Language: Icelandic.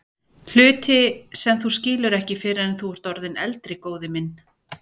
Hluti sem þú skilur ekki fyrr en þú ert orðinn eldri, góði minn.